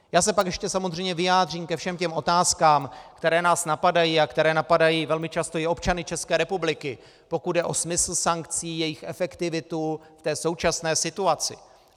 Já se pak ještě samozřejmě vyjádřím ke všem těm otázkám, které nás napadají a které napadají velmi často i občany České republiky, pokud jde o smysl sankcí, jejich efektivitu v té současné situaci.